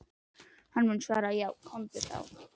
Og hann mun svara: Já komdu þá.